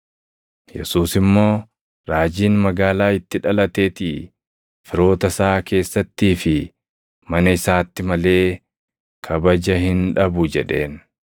Yesuus immoo, “Raajiin magaalaa itti dhalatetii, firoota isaa keessattii fi mana isaatti malee kabaja hin dhabu” jedheen.